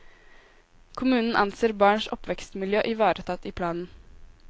Kommunen anser barns oppvekstmiljø ivaretatt i planen.